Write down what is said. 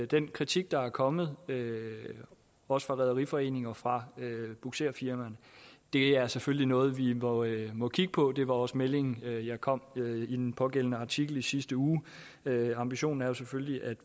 den kritik der er kommet også fra rederiforeninger og fra bugserfirmaer er selvfølgelig noget vi noget vi må kigge på det var også meldingen jeg kom med i den pågældende artikel i sidste uge ambitionen er jo selvfølgelig at